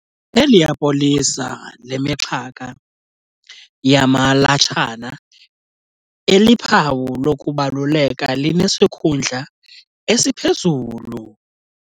Eliya polisa lemixhaka yamalatshana eliphawu lokubaluleka linesikhundla esiphezulu.